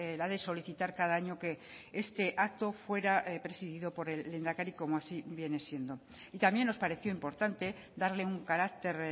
la de solicitar cada año que este acto fuera presidido por el lehendakari como así viene siendo y también nos pareció importante darle un carácter